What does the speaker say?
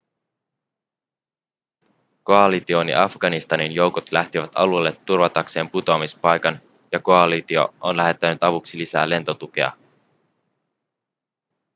koalition ja afganistanin joukot lähtivät alueelle turvatakseen putoamispaikan ja koalitio on lähettänyt avuksi lisää lentotukea